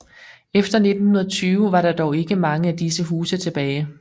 Efter 1920 var der dog ikke mange af disse huse tilbage